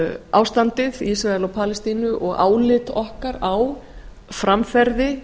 ástandið í ísrael og palestínu og álit okkar á framferði